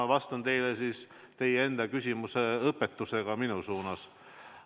Ma vastan teile siis teie enda küsimuse õpetusega minu suunas.